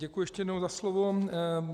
Děkuji ještě jednou za slovo.